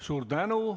Suur tänu!